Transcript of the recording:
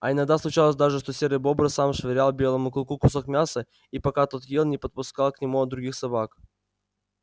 а иногда случалось даже что серый бобр сам швырял белому клыку кусок мяса и пока тот ел не подпускал к нему других собак